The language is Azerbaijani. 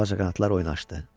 Ağcaqanadlar oynaşdı.